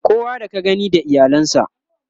kowa da ka gani da iyalan sa